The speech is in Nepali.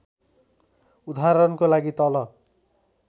उदाहरणको लागि तल